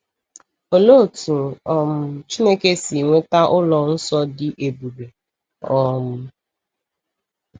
Olee otú um Chineke si nweta ụlọ nsọ dị ebube? um